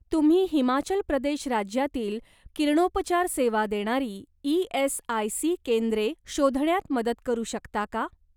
तुम्ही हिमाचल प्रदेश राज्यातील किरणोपचार सेवा देणारी ई.एस.आय.सी. केंद्रे शोधण्यात मदत करू शकता का?